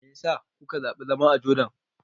Me ya sa kuka zaɓi zama a Jordan?